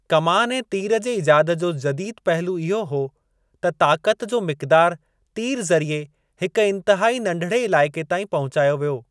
कमान ऐं तीर जे ईजाद जो जदीदु पहलू इहो हो त ताक़त जो मिक़दारु तीर ज़रिए हिकु इंतहाई नंढिड़े इलाइक़े ताईं पहुचायो वियो।